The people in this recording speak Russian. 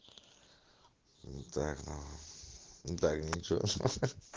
так нахуй так ни че ахаха